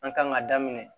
An kan ka daminɛ